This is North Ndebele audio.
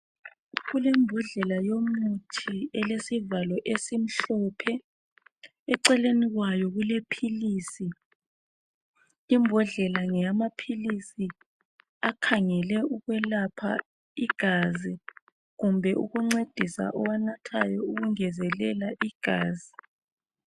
Kulembodlela yomuthi elesivalo esimhlophe , eceleni kwayo kulephilisi . Imbodlela ngeyamaphilisi akhangele okwelapha igazi .Kumbe ukuncedisa owanathayo ukungezelela igazi.